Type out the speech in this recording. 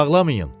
Ağlamayın.